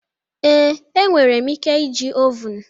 Ee, enwere m ike iji ovun.